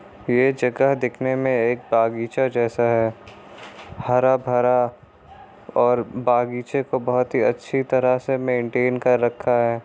ये जगह दिखने मे एक बागीचा जैसा है हरा भरा और बाग़ीचे को बहुत ही अच्छी तरह से मैन्टैन कर रखा है।